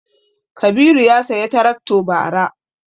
Kabiru ya saya tarakto bara